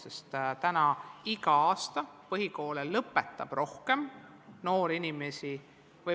Praegu lõpetab igal aastal põhikooli üha vähem noori inimesi.